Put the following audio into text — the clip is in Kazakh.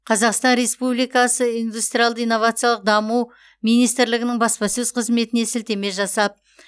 қазақстан республикасы индустриялды иновациялық даму министірлігінің баспасөз қызметіне сілтеме жасап